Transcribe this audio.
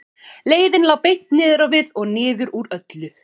Leiðin lá beint niður á við og niður úr öllu.